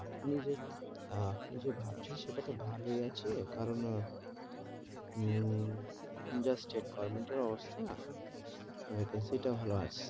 আপনি যে, আপনি যে ভাবছেন সেটা তো ভালোই আছে, কারণ হম যেকোন যা স্টেট গভর্মেন্টের অবস্থা vacancy টা ভালো আছে,